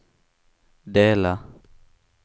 dela